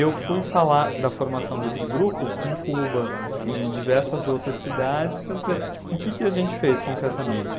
Eu fui falar da formação desse grupo em Cuba e em diversas outras cidades para dizer o que que a gente fez concretamente.